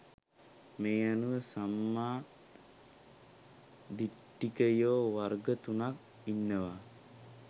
මේ අනුව සම්මා දිට්ඨිකයෝ වර්ග තුනක් ඉන්නවා